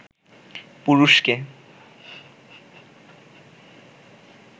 পুরুষকে